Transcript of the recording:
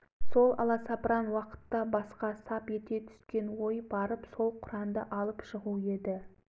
дін мұсылманның қасиетті шамшырағы осман қалипаның өз қолымен жазған исламның ең әуелгі құраны орыстың қолында петербордағы музейде сақтаулы